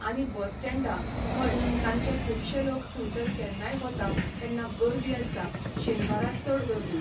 आनी बस स्टँडा, हय तांचें खुबशे लोक थंयसर केन्नाय वता तेन्ना गर्दी आसता शेनवारा चड गर्दी.